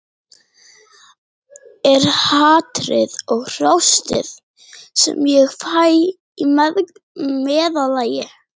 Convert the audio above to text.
Er hatrið og hrósið sem ég fæ í meðallagi?